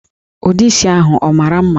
Ụdị isi ahụ ọ mara mma?